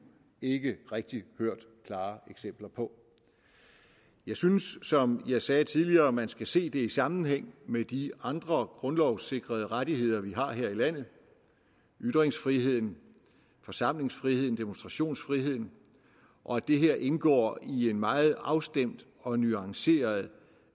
ikke rigtig hørt klare eksempler på jeg synes som jeg sagde tidligere at man skal se det i sammenhæng med de andre grundlovssikrede rettigheder vi har her i landet ytringsfriheden forsamlingsfriheden demonstrationsfriheden og at det her indgår i en meget afstemt og nuanceret